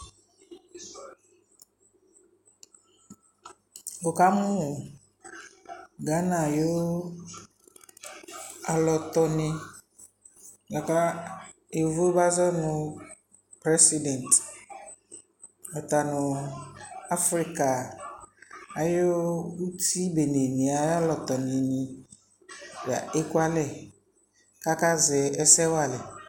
Wu kamu Gana yʋ alɔ tɔ ni buaka yovo ma zɔ nu prɛsidentAta nɔɔ Afrika ayʋ ti bene ayɔ alɔ tɔ ni la ɛkua lɛkaka zɛ ɛsɛ wa lɛ